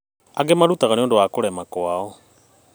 Angĩ marutaga nĩũndũ wa kũrema kwao